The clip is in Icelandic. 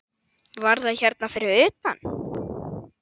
Var það hérna fyrir utan?